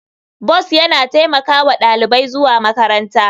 Bus yana taimaka wa ɗalibai zuwa makaranta.